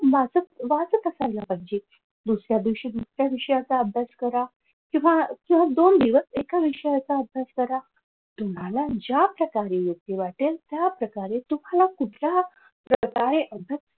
वाचत वाचत असायला पाहिजे. दुसऱ्या दिवशी दुसऱ्या विषयाचा अभ्यास करा किंवा सलग दोन दिवस एका विषयाचा अभ्यास करा. तुम्हाला ज्या प्रकारे योग्य वाटेल त्या प्रकारे तुम्हाला कुठल्या प्रकारे अभ्यास